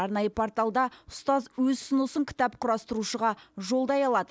арнайы порталда ұстаз өз ұсынысын кітап құрастырушыға жолдай алады